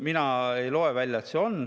Mina ei loe välja, et see on.